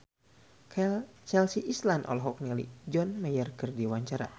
Chelsea Islan olohok ningali John Mayer keur diwawancara